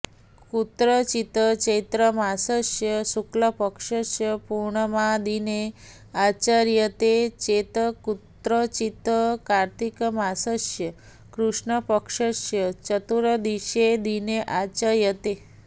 कुत्रचित् चैत्रमासस्य शुक्लपक्षस्य पूर्णिमादिने आचर्यते चेत् कुत्रचित् कार्त्तिकमासस्य कृष्णपक्षस्य चतुर्दशीदिने आचर्यते